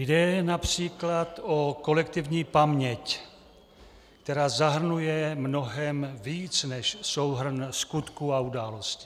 Jde například o kolektivní paměť, která zahrnuje mnohem víc než souhrn skutků a událostí.